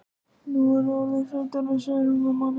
Nú er ég orðin fullorðin, segir hún við manninn.